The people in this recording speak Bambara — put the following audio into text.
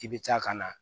I bɛ taa ka na